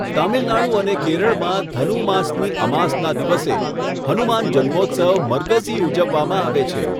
તમિલનાડુ અને કેરળમાં, ધનુ માસની અમાસના દિવસે હનુમાન જન્મોત્સવ મરગઝી ઉજવવામાં આવે છે.